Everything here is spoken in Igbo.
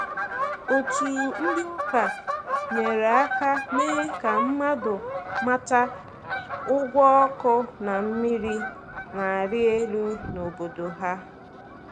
Otu ndị ụka nyere aka mee ka mmadụ mata ụgwọ ọkụ na mmiri na-arị elu n’obodo ha.